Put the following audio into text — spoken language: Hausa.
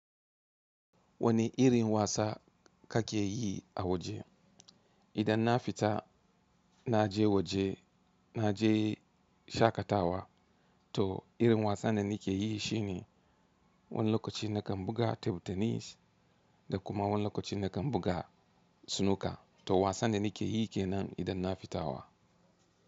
Wanne irin wasa kake yi a waje. Idan na fita na je waje, na je shaƙatawa to irin wasan da ni ke yi shine wani lokaci na kan buga table tenis da kuma wani lokaci na kan buga snooker to wasan da ni ke yi kenan idan na fita wa.